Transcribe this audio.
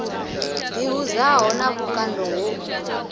ḓi hudzaho na vhukando ho